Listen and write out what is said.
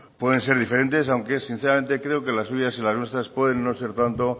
pueden ser diferentes aunque sinceramente creo que las suyas y las nuestras pueden no ser tanto